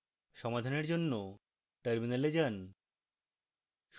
সমাধানের জন্য terminal যান